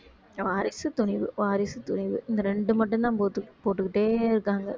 வாரிசு துணிவு வாரிசு துணிவு இந்த ரெண்டு மட்டும்தான் போட்டு~ போட்டுக்கிட்டே இருக்காங்க